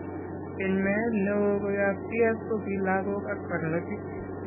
Keny meet neoo koyob CF kokii logok ak barnotik